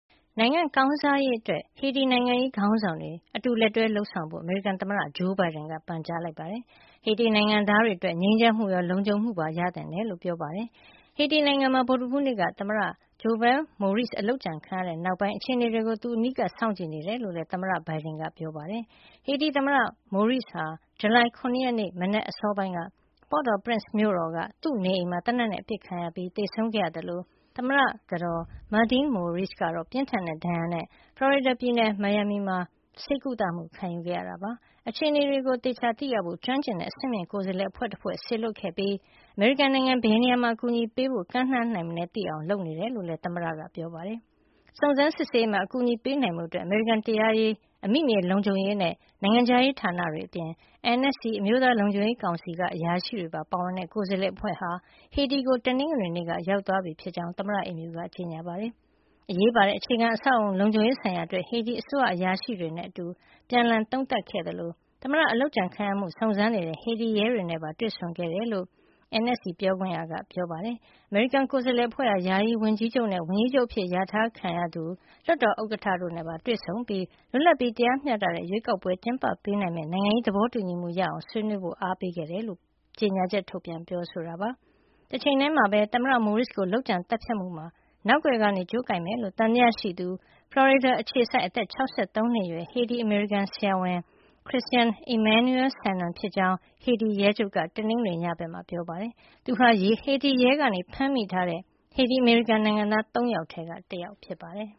နိုင်ငံကောင်းစားရေးအတွက် ဟေတီနိုင်ငံရေး ခေါင်းဆောင်တွေ အတူတကွ လက်တွဲ လုပ်ဆောင်ကြဖို့ အမေရိကန်သမ္မတ ဂျိုးဘိုင်ဒန်က ပန်ကြားလိုက်ပြီး ဟေတီနိုင်ငံသားတွေအတွက် ငြိမ်းချမ်းမှုရော လုံခြုံမှုပါ ရသင့်တယ်လို့ ပြောပါတယ်။ ဟေတီနိုင်ငံမှာ ဗုဒ္ဓဟူးနေ့က သမ္မတ Jovenel Moïse အလုပ်ကြံခံခဲ့ရတဲ့ နောက်ပိုင်း အခြေနေတွေကို သူ အနီးကပ်စောင့်ကြည့် နေတယ်လို့လည်း သမ္မတဘိုင်ဒန်က သတင်းထောက်တွေကို တနင်္လာနေ့ မှာ ပြောပါတယ်။ ဟေတီသမ္မတ Moïse ဟာ ဇူလိုင်လ ၇ ရက်နေ့ မနက်အစောပိုင်းက Port-au-Prince မြို့တော်က သူ့နေအိမ်မှာ သေနတ်နဲ့ အပစ်ခတ်ခံရပြီး သေဆုံးခဲ့ရသလို သမ္မတကတော် Martine Moïse ကတော့ ပြင်းထန်တဲ့ဒဏ်ရာနဲ့ ဖလော်ရီဒါပြည်နယ် မီယာမီ ဆေးရုံမှာကုသမှုခံယူခဲ့ရတာပါ။ အခြေနေကို သိရဖို့အတွက် ကျွမ်းကျင်တဲ့အဆင့်မြင့်ကိုယ်စားလှယ်အဖွဲ့ တဖွဲ့ကို စေလွှတ်ခဲ့ပြီး အမေရိကန်နိုင်ငံက ဘယ်နေရာမှာ အကူညီပေးဖို့ ကမ်းလှမ်းနိုင်မလဲသိအောင် လုပ်နေတယ်လို့လည်း သမ္မတဘိုင်ဒန်က ပြောပါတယ်။ စုံစမ်းစစ်ဆေးရေးမှာ အကူအညီပေးနိုင်ဖို့ အတွက် အမေရိကန် တရားရေး၊ အမိမြေလုံခြုံရေးနဲ့ နိုင်ငံခြားရေးဌာနတွေအပြင် NSC အမျိုးသားလုံခြုံရေးကောင်စီက အရာရှိတွေပါ ပါဝင်တဲ့ ကိုယ်စားလှယ်အဖွဲ့ဟာ ဟေတီကို တနင်္ဂနွေနေ့က ရောက်သွားပြီဖြစ်ကြောင့် သမ္မတအိမ်ဖြူက ကြေညာပါတယ်။ အရေးပါတဲ့ အခြေခံအဆောက်အအုံ လုံခြုံရေးဆိုင်ရာအတွက် ဟေတီအစိုးရအရာရှိတွေနဲ့ အတူ ပြန်လှန်သုံးသပ်ခဲ့သလို သမ္မတအလုပ်ကြံခံရမှုကို စုံစမ်းနေတဲ့ ဟေတီရဲတွေနဲ့ပါ တွေ့ဆုံခဲ့တယ်လို့ NSC ပြောခွင့်ရက ပြောပါတယ်။ အမေရိကန် ကိုယ်စားလှယ်အဖွဲ့ဟာ ယာယီဝန်ကြီးချုပ် Claude Joseph နဲ့ ဝန်ကြီးချုပ်အဖြစ်လျာထားခံရတဲ့ Ariel Henry ၊ လွှတ်တော်ဥက္ကဌ Joseph Lambert တို့နဲ့ပါတွေ့ဆုံပြီး လွတ်လပ်ပြီးတရားမျှတတဲ့ရွေးကောက်ပွဲကျင်းပပေးနိုင်မယ့် နိုင်ငံရေး သဘောတူညီမှုရအာင် ဆွေးနွေးမှုတွေ လုပ်ဖို့ အားပေးခဲ့တယ်လို့လည်း NSC က ကြေညာချက်ထုတ်ပြန်ပြောဆိုပါတယ်။ တချိန်ထည်းမှာပဲ သမ္မတ Moise ကို လုပ်ကြံသတ်ဖြတ်မှုမှာ နောက်ကွယ်က ကြိုးကိုင်မယ်လို့ သံသယရှိသူဟာ ဖလော်ရီဒါအခြေစိုက် အသက် ၆၃ နှစ်အရွယ် ဟေတီ- အမေရိကန် ဆရာဝန် Christian Emmanuel Sanon ဖြစ်ကြောင်း ဟေတီရဲချုပ် Leon Charles က တနင်္ဂနွေညဘက်က ထုတ်ပြန်ပြောဆိုခဲ့ပါတယ်။ သူဟာ ဟေတီရဲက ဖမ်းမိထားတဲ့ ဟေတီ- အမေရိကန်နိုင်ငံသား ၃ ယောက်ထဲက တယောက်ဖြစ်ပါတယ်